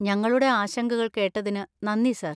ഞങ്ങളുടെ ആശങ്കകൾ കേട്ടതിന് നന്ദി, സർ.